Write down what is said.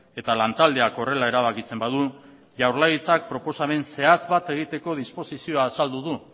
eta lantaldeak horrela erabakitzen badu jaurlaritzak proposamen zehatz bat egiteko disposizioa azaldu du